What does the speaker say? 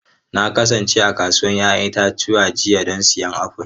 Na kasance a kasuwar 'ya'yan itace jiya don siyan afuls.